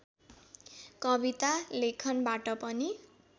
कविता लेखनबाट पनि